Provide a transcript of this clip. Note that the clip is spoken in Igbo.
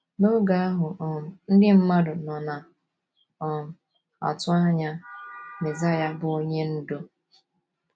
N’oge ahụ, um “ ndị mmadụ nọ na - um atụ anya ” Mezaịa bụ́ Onye Ndú.